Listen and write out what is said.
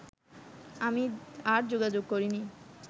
আমি আর যোগাযোগ করিনি